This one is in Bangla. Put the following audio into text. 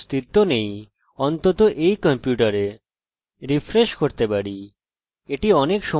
রিফ্রেশ করতে পারি এটি অনেক সময় নিচ্ছে আমরা এই পেয়েছি